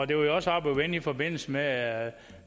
det var jo også oppe at vende i forbindelse med at